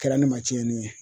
Kɛra ne ma cɛnni ye